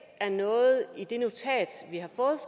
er noget i det notat vi